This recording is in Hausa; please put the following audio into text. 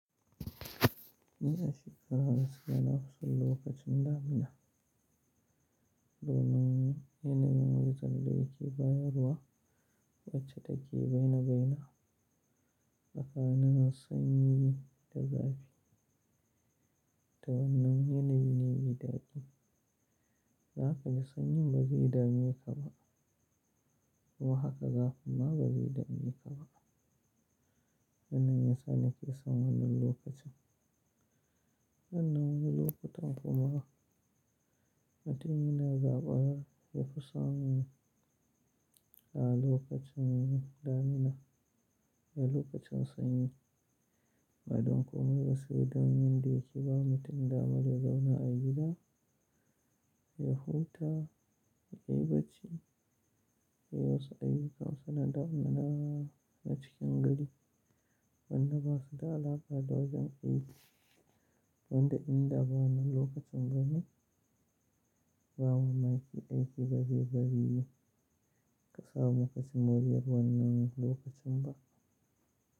Ina shiga rana suna husul lokacin damina. Donin yanayin wajen da yake bayarwa wacce take beina beina. Bakana sanyi da zafi. To wannan yanayi ne mai daɗi. Haka da sanyi ba zai dame ka ba. Ko haka zafi ma ba zai dame ka ba. Wannan yasa nake son wannan lokacin. Nan na wani lokutan kuma mutum yana gaɓar yafi so a lokacin damina a lokacin sanyi. Ba don komai ba su da wajen da yake ba mutum damar ya zauna a gida ya huta, ya yi bacci, ya yi wasu ayyuka wasu na damina na cikin gari wanda ba su da alaƙa da wajen aiki. Wanda in da ba na lokacin bane, ba ma mai ke aiki gaba yi bari yi ka samu ka cimma riyar wannan lokacin ba.